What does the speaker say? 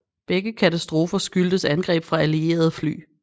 Begge katastrofer skyldtes angreb fra alliererede fly